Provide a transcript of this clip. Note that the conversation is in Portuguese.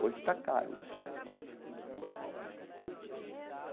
Hoje está caro desfilar em escola de samba.